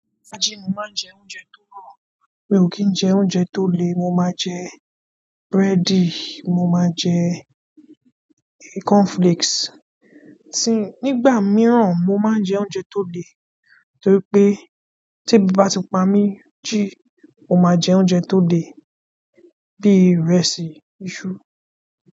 Sájí ni mo máa ń jẹ oúnjẹ tó rọ̀. Mi ò kí ń jẹ oúnjẹ tó lè, mo máa jẹ búrẹ́dì, mo máa jẹ cornflakes. Nígbà míràn mo máa ń jẹ oúnjẹ tó le torípé ti ebi bá tí pa mi, mo máa ń jẹ oúnjẹ tó le bí í ìrẹsì, iṣu.